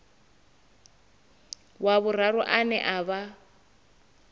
wa vhuraru ane a vha